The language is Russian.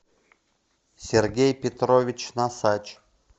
сергей петрович носач